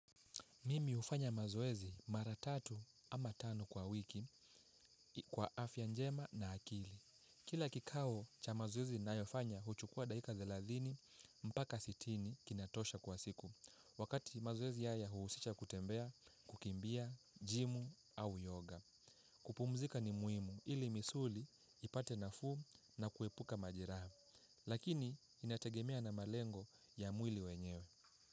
Mimi hufanya mazoezi mara tatu ama tano kwa wiki kwa afya njema na akili. Kila kikao cha mazoezi ninayofanya huchukua dakika thelathini mpaka sitini kina tosha kwa siku. Wakati mazoezi haya huusisha kutembea, kukimbia, gymu au yoga. Kupumzika ni muhimu ili misuli ipate nafuu na kuepuka majeraha. Lakini inategemea na malengo ya mwili wenyewe.